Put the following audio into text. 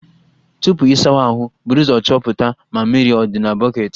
Tupu ị sawa ahụ, buru ụzọ chọpụta ma mmiri dị na bọketi